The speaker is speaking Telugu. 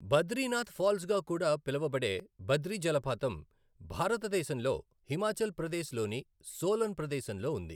బద్రీనాథ్ ఫాల్స్ గా కూడా పిలువబడే బద్రి జలపాతం భారతదేశంలో హిమాచల్ ప్రదేశ్ లోని సోలన్ ప్రదేశంలో ఉంది.